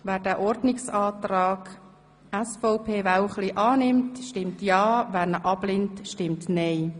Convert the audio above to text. Wer den Ordnungsantrag SVP Wälchli annimmt, stimmt ja, wer ihn ablehnt, stimmt nein.